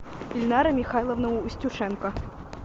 ильнара михайловна устюшенко